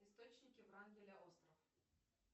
источники врангеля остров